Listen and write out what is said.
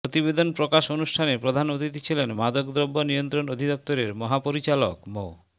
প্রতিবেদন প্রকাশ অনুষ্ঠানে প্রধান অতিথি ছিলেন মাদকদ্রব্য নিয়ন্ত্রণ অধিদপ্তরের মহাপরিচালক মো